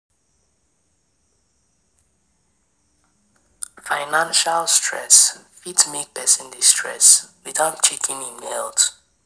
Financial stress fit make person dey stress without checking im health